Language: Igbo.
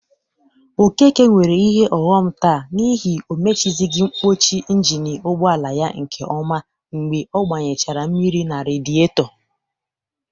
Okeke nwere ihe ọghọm taa n'ihi o mechizighi mpọchị ịnjịnị ụgbọala ya nke ọma mgbe ọ gbanyechara mmiri na radịetọ.